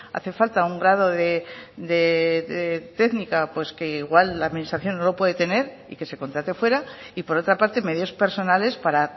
hace falta un grado de técnica que igual la administración no lo puede tener y que se contrate fuera y por otra parte medios personales para